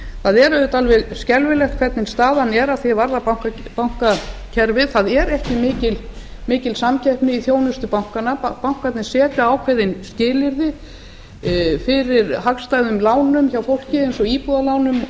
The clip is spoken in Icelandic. það er auðvitað alveg skelfilegt hvernig staðan er að því er varðar bankakerfið það er ekki mikil samkeppni í þjónustu bankanna bankarnir setja ákveðin skilyrði fyrir hagstæðum lánum hjá fólki eins og íbúðarlánum og